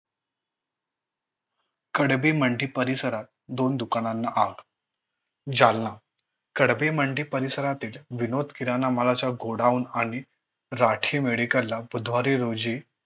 खडबी मंडी परिसरात दोन दुकानांना आग. जालना. खडबी मंडी परिसरातील विनोद किराणा मालाचा Godown आणि राठी Medical ला बुधवारी रोजी